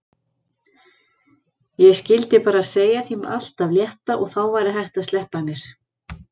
Ég skyldi bara segja þeim allt af létta og þá væri hægt að sleppa mér.